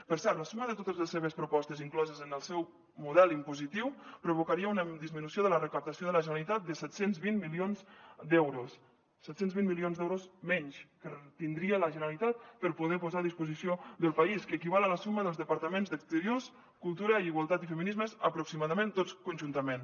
per cert la suma de totes les seves propostes incloses en el seu model impositiu provocaria una disminució de la recaptació de la generalitat de set cents i vint milions d’euros set cents i vint milions d’euros menys que tindria la generalitat per poder posar a disposició del país que equival a la suma dels departaments d’exteriors cultura i igualtat i feminismes aproximadament tots conjuntament